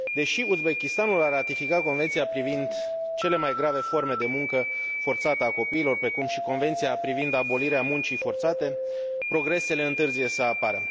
Deși Uzbekistanul a ratificat Convenția privind cele mai grave forme de muncă forțată a copiilor, precum și Convenția privind abolirea muncii forțate, progresele întârzie să apară.